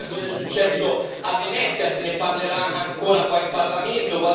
Pensate a cosa è successo a Venezia, se ne parlerà ancora qua in Parlamento.